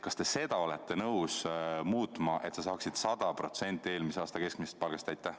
Kas te seda olete nõus muutma, et inimesed saaks sel juhul 100% eelmise aasta keskmisest palgast?